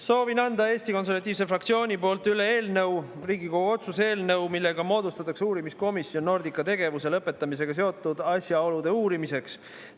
Soovin anda Eesti Konservatiivse fraktsiooni poolt üle Riigikogu otsuse eelnõu, millega moodustatakse uurimiskomisjon Nordica tegevuse lõpetamisega seotud asjaolude uurimiseks.